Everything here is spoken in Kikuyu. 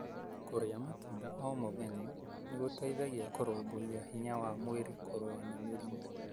Kũria matunda o mũthenya nĩ gũteithagia kũrumbuiya hinya wa mwĩrĩ kũrũa na mĩrĩmũ.